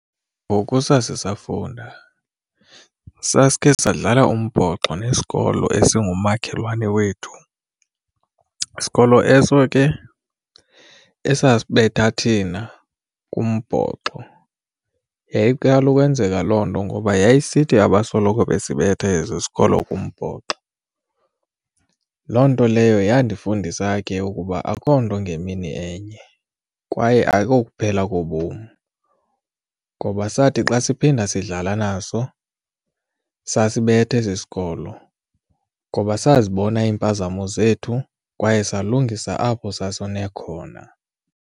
Ngoku sasisafunda, sasikhe sadlala umbhoxo nesikolo esingumakhelwane wethu, sikolo eso ke esabetha thina kumbhoxo. Yayiqala ukwenzeka loo nto ngoba yayisithi abasoloko besibetha esi sikolo kumbhoxo. Loo nto leyo yandifundisa ke ukuba akukho nto ngemini enye kwaye ayikokuphela kobom ngoba sathi xa siphinda sidlala naso sasibetha esi sikolo ngoba sazibona iimpazamo zethu kwaye salungisa apho sasone khona.